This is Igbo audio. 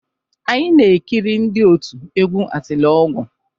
Anyị na-ekiri ndị òtù egwú Atiliọgwụ.